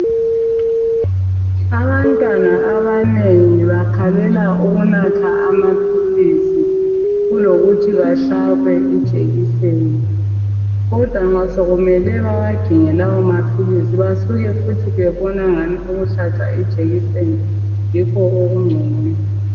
abantwana abanengi bakhalela ukunatha amaphilisi kulokuthi bahlabwe ijekiseni kodwa nxa sekumele bawaginye lawo maphilisi basuka babone engani ukuhlatshwa ijekiseni yikho okungcono